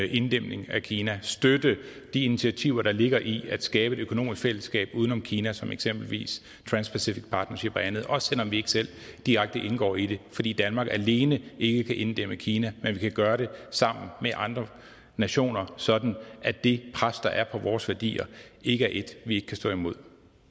inddæmning af kina støtte de initiativer der ligger i at skabe et økonomisk fællesskab uden om kina som for eksempel trans pacific partnership og andet også selv om vi ikke selv direkte indgår i det fordi danmark alene ikke kan inddæmme kina men vi kan gøre det sammen med andre nationer sådan at det pres der er på vores værdier ikke er et vi ikke kan stå imod